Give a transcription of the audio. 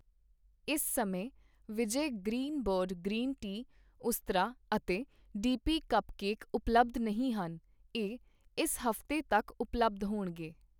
ਇਸ ਸਮੇਂ Vijay Greenbird green tea, Ustraa ਅਤੇ ਡੀਪੀ ਕੱਪਕੇਕ ਉਪਲੱਬਧ ਨਹੀਂ ਹਨ, ਇਹ ਇਸ ਹਫ਼ਤੇ ਤੱਕ ਉਪਲੱਬਧ ਹੋਣਗੇ